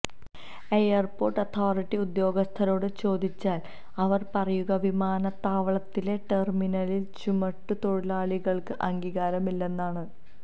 airport authority ഉദ്യോഗസ്ഥരോട് ചോദിച്ചാല് അവര് പറയുക വിമാനത്താവളത്തിലെ ടെര്മിനലില് ചുമട്ടുതൊഴിലാളികള്ക്ക് അംഗീകാരമില്ലെന്നാണ്